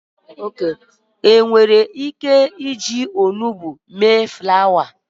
nwere ike ije ilu orui dị ka osisi nhazi ulo?